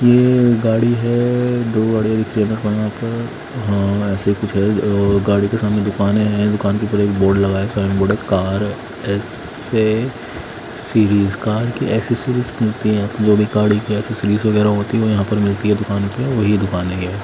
ये गाड़ी हैं दो गाड़ियों हां ऐसे ही कुछ है वो गाड़ी के सामने दुकान है दुकान के ऊपर एक बोर्ड लगा है साइन बोर्ड कार के एक्सेसरीज़ मिलती हैं यहां पे जो भी गाड़ी की एक्सेसरीज़ वगैरा होती हैं यहां पे मिलती है दुकान पे वही दुकान है ये--